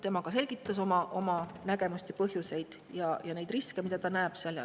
Tema ka selgitas oma nägemust ja põhjuseid ja riske, mida ta näeb.